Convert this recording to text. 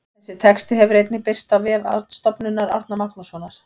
Þessi texti hefur einnig birst á vef Stofnunar Árna Magnússonar.